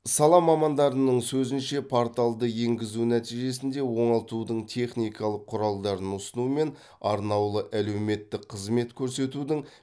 сала мамандарының сөзінше порталды енгізу нәтижесінде оңалтудың техникалық құралдарын ұсыну мен арнаулы әлеуметтік қызмет көрсетудің